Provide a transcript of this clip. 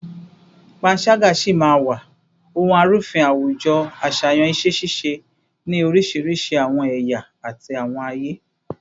Panṣaga si maa wa ohun arufin awujo aṣayan iṣẹ-ṣiṣe ni orisirisi awọn ẹya ti awọn aye